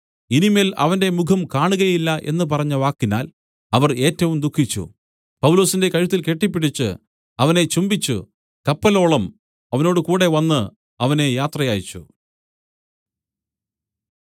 ഇനി മേൽ അവന്റെ മുഖം കാണുകയില്ല എന്നു പറഞ്ഞ വാക്കിനാൽ അവർ ഏറ്റവും ദുഃഖിച്ചു പൗലൊസിന്റെ കഴുത്തിൽ കെട്ടിപ്പിടിച്ച് അവനെ ചുംബിച്ചു കപ്പലോളം അവനോടുകൂടെ വന്ന് അവനെ യാത്രയയച്ചു